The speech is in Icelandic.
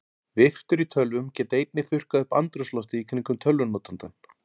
Viftur í tölvum geta einnig þurrkað upp andrúmsloftið í kringum tölvunotandann.